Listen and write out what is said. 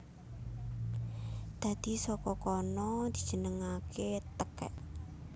Dadi saka kono dijenengaké tekèk